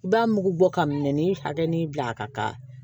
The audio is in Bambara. I b'a mugu bɔ ka nɛni hakɛnin bil'a kan